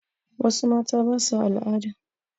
Wassu mata basa al'ada